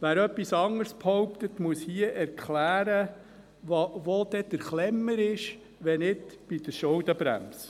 Wer etwas anderes behauptet, muss hier erklären, wo der «Klemmer» ist, wenn nicht bei der Schuldenbremse.